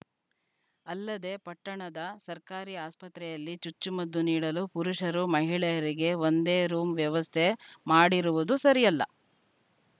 ಅಲ್ಲದೇ ಪಟ್ಟಣದ ಸರ್ಕಾರಿ ಆಸ್ಪತ್ರೆಯಲ್ಲಿ ಚುಚ್ಚುಮದ್ದು ನೀಡಲು ಪುರುಷರು ಮಹಿಳೆಯರಿಗೆ ಒಂದೇ ರೂಂ ವ್ಯವಸ್ಥೆ ಮಾಡಿರುವುದು ಸರಿಯಲ್ಲ